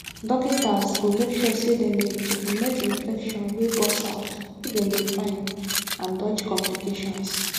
dokitas go make sure dem dey checkmate infection wey burst out make dem dey fine and dodge complications